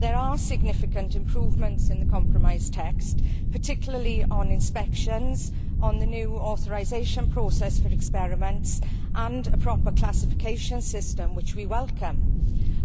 There are significant improvements in the compromise text, particularly on inspections, on the new authorisation process for experiments and on a proper classification system, which we welcome.